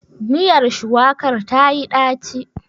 Miyar shuwakar tayi ɗaci?